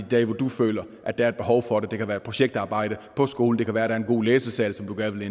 dage hvor du føler at der er et behov for det det kan være projektarbejde på skolen det kan være der er en god læsesal som du gerne